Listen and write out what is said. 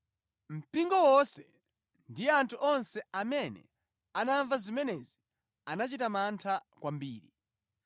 Mpingo wonse ndi anthu onse amene anamva zimenezi anachita mantha kwambiri.